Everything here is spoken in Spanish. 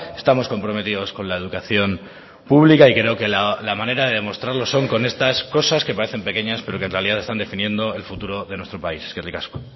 estamos comprometidos con la educación pública y creo que la manera de demostrarlo son con estas cosas que parecen pequeñas pero que en realidad están definiendo el futuro de nuestro país eskerrik asko